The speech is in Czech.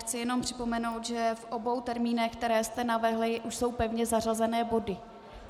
Chci jen připomenout, že v obou termínech, které jste navrhla, už jsou pevně zařazené body.